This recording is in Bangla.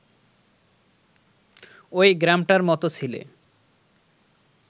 ওই গ্রামটার মত ছিলে